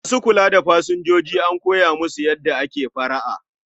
Ma su kula da pasanjoji an koya musu yada ake fara'a